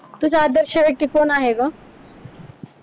तुझा आदर्श व्यक्ती कोण आहे ग?